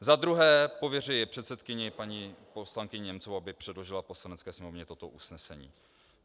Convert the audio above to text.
Za druhé pověřuje předsedkyni paní poslankyni Němcovou, aby předložila Poslanecké sněmovně toto usnesení.